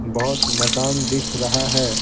बहुत मकान दिख रहा है।